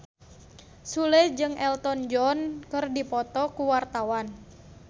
Sule jeung Elton John keur dipoto ku wartawan